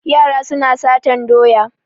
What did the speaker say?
Yara suna satan doya.